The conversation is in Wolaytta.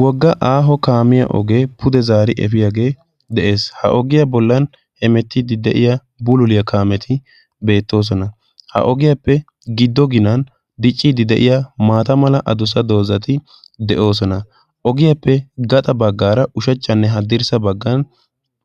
Wogga aaho kaamiyaa ogee pude zaari efiyaage de'ees. Ha ogiyaa bollan hemettiiddi de'iya buliliya kaameti beettoosona. Ha ogiyaappe giddo ginan dicciiddi de'iya mata mala adussa dozzati de'oosona. Ogiyaappe gaxa baggaara ushachchanne haddirssa baggan